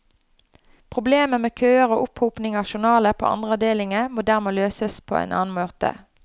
Problemer med køer og opphopning av journaler på andre avdelinger må dermed løses på annen måte.